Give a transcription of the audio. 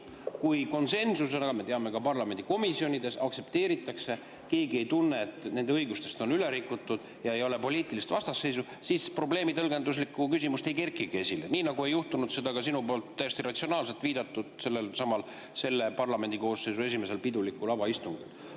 Kui konsensusena aktsepteeritakse – me teame, et ka parlamendi komisjonides –, kui keegi ei tunne, et nende õigusi on rikutud, ja ei ole poliitilist vastasseisu, siis tõlgenduslikku küsimust ei kerkigi esile, nii nagu ei juhtunud seda ka sinu poolt täiesti ratsionaalselt viidatud sellelsamal selle parlamendikoosseisu esimesel istungil, pidulikul avaistungil.